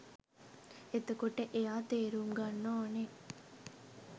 එතකොට එයා තේරුම්ගන්න ඕනෙ